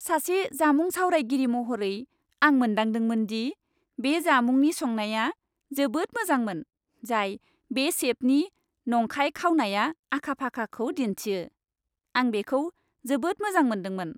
सासे जामुं सावरायगिरि महरै, आं मोनदांदोंमोन दि बे जामुंनि संनाया जोबोद मोजांमोन, जाय बे सेफनि संनाय खावनायाव आखा फाखाखौ दिन्थियो। आं बेखौ जोबोद मोजां मोन्दोंमोन।